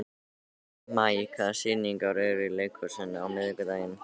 Maj, hvaða sýningar eru í leikhúsinu á miðvikudaginn?